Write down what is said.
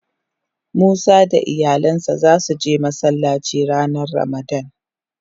Musa da iyalin sa za su je Masallaci ranan ramadan.